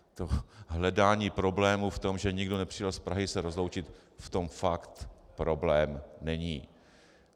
To hledání problému v tom, že někdo nepřijel z Prahy se rozloučit, v tom fakt problém není.